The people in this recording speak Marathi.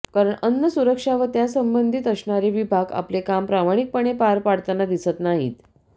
कारण अन्न सुरक्षा व त्यासंबंधित असणारे विभाग आपले काम प्रामाणिकपणे पार पाडताना दिसत नाहीत